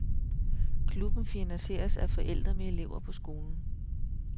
Klubben finansieres af forældre med elever på skolen.